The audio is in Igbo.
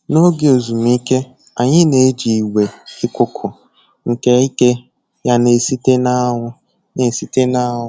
N'oge ezumike, anyị na-eji igwe ikuku nke ike ya na-esite n'anwụ na-esite n'anwụ